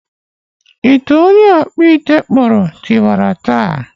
Ite onye ọkpụ ite kpụrụm tiwara taa